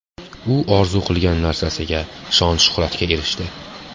U orzu qilgan narsasiga – shon-shuhratga erishdi.